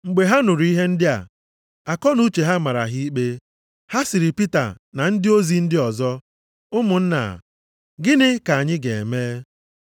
Mgbe ha nụrụ ihe ndị a, akọnuche ha mara ha ikpe. Ha sịrị Pita na ndị ozi ndị ọzọ, “Ụmụnna, gịnị ka anyị ga-eme?”